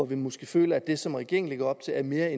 vi måske føler at det som regeringen lægger op til er en mere